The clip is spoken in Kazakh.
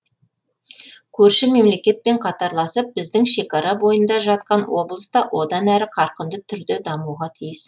көрші мемлекетпен қатарласып біздің шекара бойында жатқан облыс та одан әрі қарқынды түрде дамуға тиіс